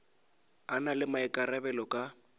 a na le maikarabelo ka